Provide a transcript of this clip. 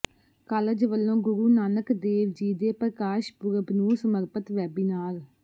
college ਵਲੋਂ ਗੁਰੂ ਨਾਨਕ ਦੇਵ ਜੀ ਦੇ ਪ੍ਰਕਾਸ਼ ਪੁਰਬ ਨੂੰ ਸਮਰਪਤ ਵੈਬੀਨਾਰ